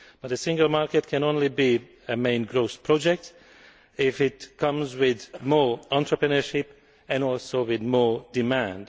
But the single market can only be a main growth project if it comes with more entrepreneurship and also with more demand.